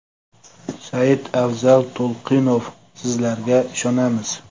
Saidafzal To‘lqinov: - Sizlarga ishonamiz.